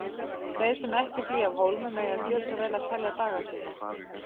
Þeir sem ekki flýja af hólmi mega gjöra svo vel að telja daga sína.